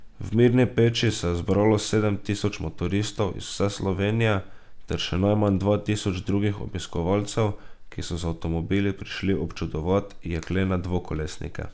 V Mirni peči se je zbralo sedem tisoč motoristov iz vse Slovenije ter še najmanj dva tisoč drugih obiskovalcev, ki so z avtomobili prišli občudovat jeklene dvokolesnike.